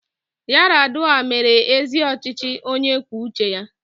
Yaradua mere ezi ọchịchị onye kwuo uche ya.